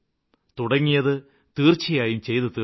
തുടങ്ങിയത് തീര്ച്ചയായും ചെയ്തു തീര്ക്കും